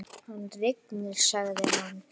Hann rignir, sagði hann.